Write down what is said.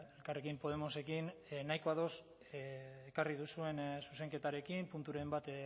elkarrekin podemosekin nahiko ados ekarri duzuen zuzenketarekin punturen bat